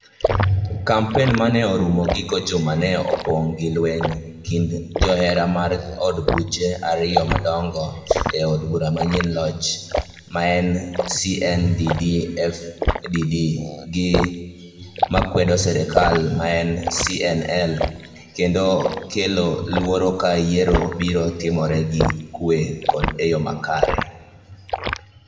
kampen ma ne orumo giko juma ne opong' gi lweny kind joera mar od buche ariyo madong'o ,od bura manie loch maen CNDD FDD gi makwedo serkal maen CNL, kendo kelo luoro ka yiero biro timore gi kwe kod e yo makare.